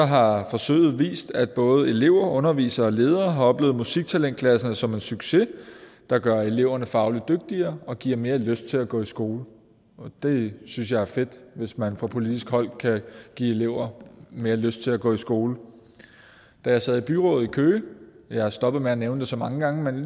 har forsøget vist at både elever undervisere og ledere har oplevet musiktalentklasserne som en succes der gør eleverne fagligt dygtigere og giver mere lyst til at gå i skole det synes jeg er fedt hvis man fra politisk hold kan give elever mere lyst til at gå i skole da jeg sad i byrådet i køge og jeg stoppet med at nævne så mange gange men